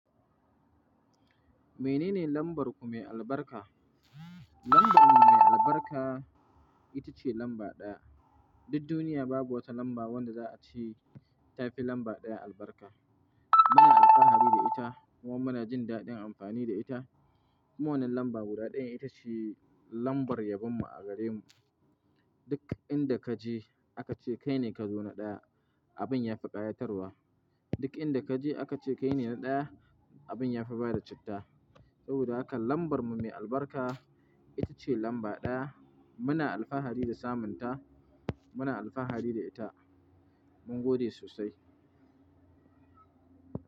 Menene lambar ku mai albarka? Lambar mu mai albarka ita ce lamba ɗaya. Duk duniya babu wata lamba wanda za a ce ta fi lamba ɗaya albarka. Muna alfahari da ita, kuma muna jin daɗin amfani da ita. Kuma wannan lambar guda ɗaya, ita ce lambar yabon mu a gare mu. Duk inda ka je aka ce kai ne ka zo na ɗaya, abin ya fi ƙayatarwa. Duk inda ka je aka ce kai ne na ɗaya, abin ya fi bada citta. Saboda haka lambar mu mai albarka ita ce lamba ɗaya. Muna alfahari da samun ta, muna alfahari da ita. Mun gode sosai.